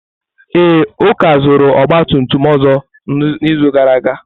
Ee, Uka zụtara ọgba tum tum ọzọ n'izu gara aga.